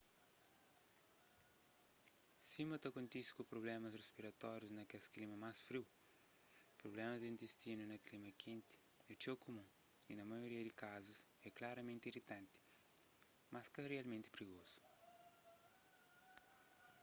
sima ta kontise ku prublémas rispiratórius na kes klima más friu prublémas di intistinu na klima kenti é txeu kumun y na maioria di kazus é klaramenti iritanti mas ka kel rialmenti prigozu